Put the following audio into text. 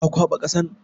Ka kwaɓa ƙasan?